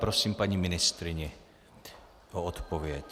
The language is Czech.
Prosím paní ministryni o odpověď.